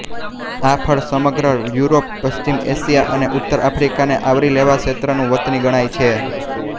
આ ફળ સમગ્ર યુરોપ પશ્ચિમ એશિયા અને ઉત્તર આફ્રીકાને આવરી લેતા ક્ષેત્રનું વતની ગણાય છે